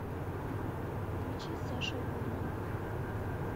включи саша гудман